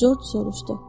Corc soruştu.